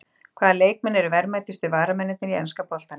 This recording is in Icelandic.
Hvaða leikmenn eru verðmætustu varamennirnir í enska boltanum?